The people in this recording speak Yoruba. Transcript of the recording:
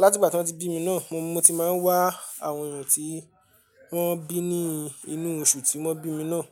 láti ìgbà tí wọ́n ti bí mi náà mo ti máa ń wá àwọn èyàn tí wọ́n bí ní inú oṣù tí wọ́n bí mi náà.